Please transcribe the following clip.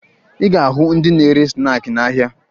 Ị ga-ahụ ndị na-ere snaakị n'ahịa